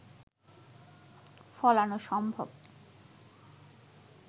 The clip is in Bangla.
ফলানো সম্ভব